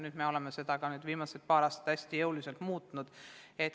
Seda me oleme viimasel paaril aastal hästi jõuliselt muutnud.